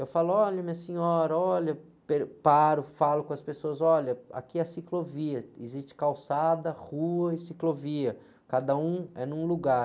Eu falo, olha, minha senhora, olha, paro, falo com as pessoas, olha, aqui é ciclovia, existe calçada, rua e ciclovia, cada um é num lugar.